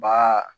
Ba